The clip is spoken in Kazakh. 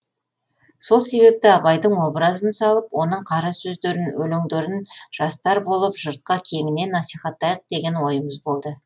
сол себепті абайдың образын салып оның қара сөздерін өлеңдерін жастар болып жұртқа кеңінен насихаттайық деген ойымыз болды